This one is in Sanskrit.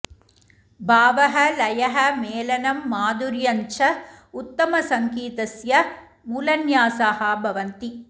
भावः लयः मेलनं माधुर्यं च उत्तमसङ्गीतस्य मूलन्यासाः भवन्ति